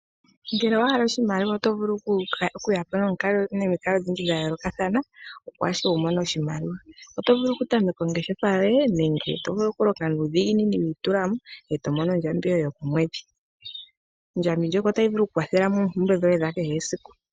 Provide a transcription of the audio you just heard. Ngele owa hala oshimaliwa oto vulu okuya po nomikalo odhindji dha yoolokathana opo ashike wu mone oshimaliwa . Oto vulu okutameka ongeshefa yoye. Oto vulu okulonga nuudhigini wi itula mo eto mono ondjambi yoye yokomwedhi. Tayi vulu oku ku kwathela moompumbwe dhoye dha kehe esiku.